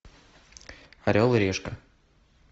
орел и решка